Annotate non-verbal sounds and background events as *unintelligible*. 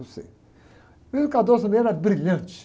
cê, o *unintelligible* ele era brilhante.